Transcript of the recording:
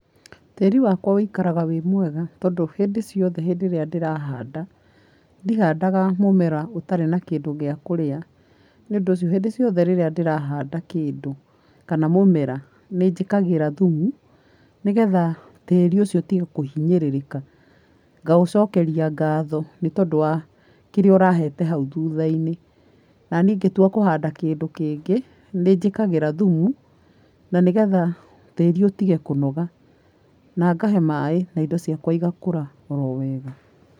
Tĩri wakwa ũikaraga wĩ mwega tondũ hĩndĩ ciothe rĩrĩa ndĩrahanda, ndihandaga mũmera ũtarĩ na kĩndũ gĩa kũrĩa. Nĩ ũndũ ũcio, hĩndĩ ciothe ngĩhanda kĩndũ kana mũmera, nĩ njĩkĩraga thũmũ, nĩgetha tĩri ũcio ũtige kũhinyĩrĩrĩka. Ngaũcokeria ngatho nĩ tondũ wa kĩrĩa ũrahete hau thũtha-inĩ. Naniĩ ngĩtua kũhanda kĩndũ kĩngĩ, nĩ njĩkĩraga thumu na nĩgetha tĩri ũtige kũnoga. Na ngahe maĩ indo ciakwa igakũra oro wega.